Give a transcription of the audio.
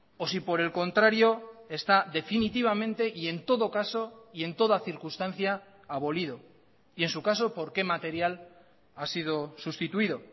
o si por el contrario está definitivamente y en todo caso y en toda circunstancia abolido y en su caso por qué material ha sido sustituido